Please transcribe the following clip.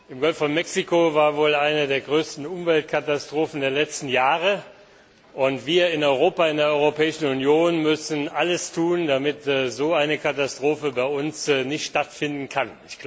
Im Golf von Mexiko kam es wohl zu einer der größten Umweltkatastrophen der letzten Jahre, und wir in Europa, in der Europäischen Union, müssen alles tun, damit so eine Katastrophe bei uns nicht stattfinden kann.